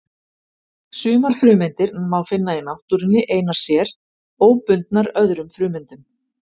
Sumar frumeindir má finna í náttúrunni einar sér, óbundnar öðrum frumeindum.